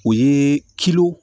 O ye